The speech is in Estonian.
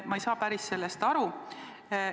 Ma ei saa sellest aru.